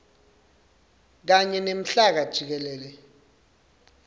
kanye nemhlaba jikelele